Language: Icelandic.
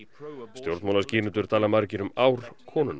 stjórnmálaskýrendur tala um ár konunnar